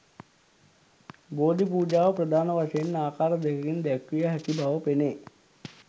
බෝධි පූජාව ප්‍රධාන වශයෙන් ආකාර දෙකකින් දැක්විය හැකි බව පෙනේ.